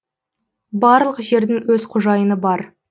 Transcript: барлық жердің өз қожайыны бар